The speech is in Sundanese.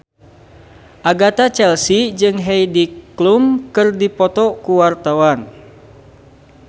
Agatha Chelsea jeung Heidi Klum keur dipoto ku wartawan